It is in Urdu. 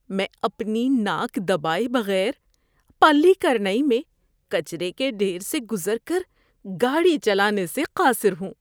میں اپنی ناک دبائے بغیر پلی کرنائی میں کچرے کے ڈھیر سے گزر کر گاڑی چلانے سے قاصر ہوں۔